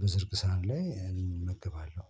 በዝርግ ሳህን ላይ እመገባለሁ።